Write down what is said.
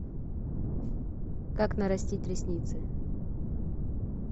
как нарастить ресницы